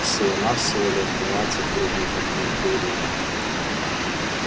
всего-навсего лет двадцать в рудниках меркурия